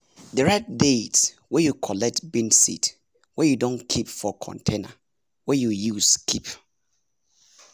dey write date wey you collect bean seed wey you don keep for container wey you use keep m